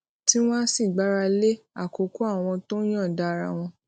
tí wón á sì gbára lé àkókò àwọn tó yòǹda ara wọn